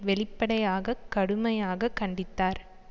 வெளிப்படையாக கடுமையாக கண்டித்தார்